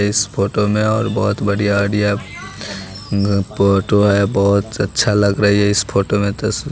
इस फोटो में और बहोत बढ़िया आईडिया घ फोटो है बहोत अच्छा लग रही है इस फोटो में तस--